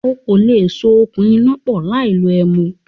O kò lè so okùn iná pọ̀ láì lo ẹ̀mú